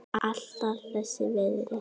Alltaf þess virði.